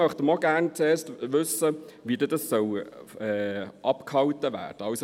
Dort möchten wir auch gerne zuerst wissen, wie das abgehalten werden soll.